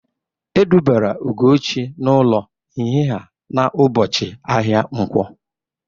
E dubara Ugochi n'ụlọ nhịha na ụbọchị ahịa nkwọ